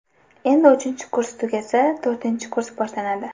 Endi uchinchi kurs tugasa, to‘rtinchi kurs boshlanadi.